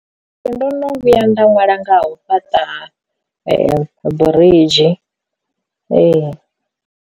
Nṋe ndo no vhuya nda nwala nga u fhaṱa biridzhi ee.